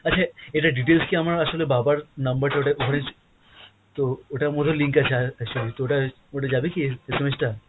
আচ্ছা এটার details কি আমার আসলে বাবার number টা ওটা ওখানে তো ওটার মধ্যে link আছে আ~ actually, তো ওটা ওটা যাবে কি SMS টা?